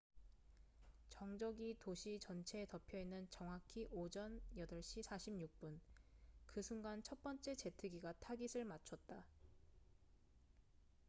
정적이 도시 전체에 덮여 있는 정확히 오전 8시 46분 그 순간 첫 번째 제트기가 타깃을 맞췄다